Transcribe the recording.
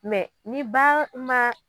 Mɛ ni ba ma